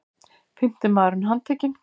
Fimmti maðurinn handtekinn